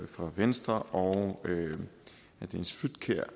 fra venstre og herre dennis flydtkjær